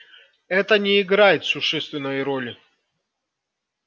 это не играет существенной роли